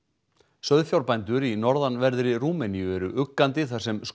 sauðfjárbændur í norðanverðri Rúmeníu eru uggandi þar sem